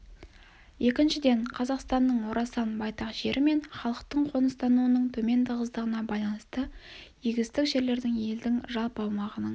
екіншіден қазақстанның орасан байтақ жері мен халықтың қоныстануының төмен тығыздығына байланысты егістік жерлердің елдің жалпы аумағының